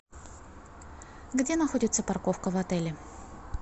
где находится парковка в отеле